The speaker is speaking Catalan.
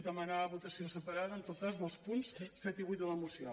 demanar votació separada en tot cas dels punts set i vuit de la moció